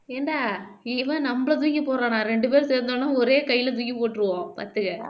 ஏன்டா இவன் நம்மளை தூக்கி போடுறானா இரண்டு பேரும் சேர்ந்தாலும் ஒரே கையிலே தூக்கி போட்டிருவோம் பார்த்துக்க